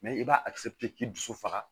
i b'a a k'i dusu faga